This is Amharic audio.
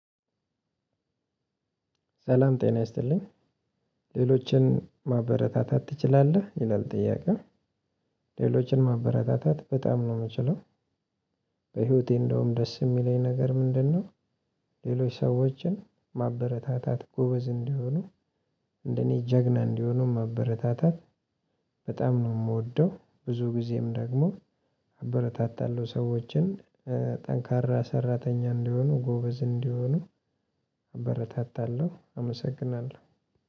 ሰላም ጤና ይስጥልኝ "ሌሎችን ማበረታታት አትችላለህ?" ይላል ጥያቄው፣ ሌሎችን ማበረታታት በጣም ነው የምችለው። በህይወቴ እንደውም ደስ የሚለኝ ነገር ምንድነው ሌሎች ሰዎችን ማበረታታት ጎበዝ እንዲሆኑ እንደኔ ጀግና እንዲሆኑ ማበረታታት በጣም ነው የምወደው። ብዙ ጊዜም ደግሞ አበረታታለሁ ሰዎችን ጠንካራ ሰራተኛ እንዲሆኑ ጎበዝ እንዲሆኑ አበረታታለሁ አመሰግናለሁ።